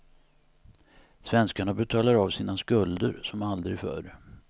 Svenskarna betalar av sina skulder som aldrig förr.